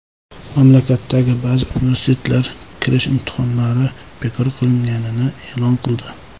Mamlakatdagi ba’zi universitetlar kirish imtihonlari bekor qilinganini e’lon qildi.